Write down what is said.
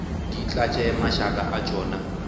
di tlatše mašaka a tšona